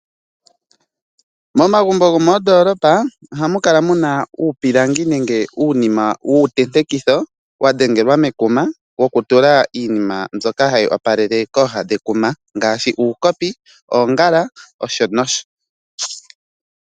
Momagumbo gomoondolopa ohamu kala mu na uupilangi nenge uunima wuu tentekitho wa dhengelwa mekuma woku tula iinima mbyoka hayi opalele kooha dhekuma ngaashi : uukopi, oongala, uuyaha noshonosho.